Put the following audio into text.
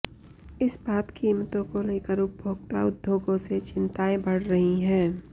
इस्पात कीमतों को लेकर उपभोक्ता उद्योगों से चिंताएं बढ़ रही हैं